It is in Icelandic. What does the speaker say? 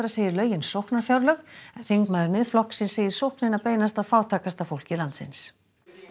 segir lögin sóknarfjárlög en þingmaður Miðflokksins segir sóknina beinast að fátækasta fólki landsins